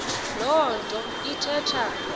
loo nto ithetha